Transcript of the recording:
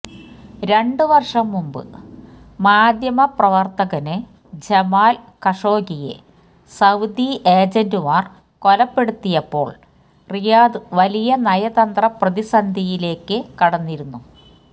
രണ്ട് വര്ഷം മുന്പ് മാധ്യമ പ്രവര്ത്തകന് ജമാല് കഷോഗിയെ സൌദി ഏജന്റുമാര് കൊലപ്പെടുത്തിയപ്പോള് റിയാദ് വലിയ നയതന്ത്ര പ്രതിസന്ധിയിലേക്ക് കടന്നിരുന്നു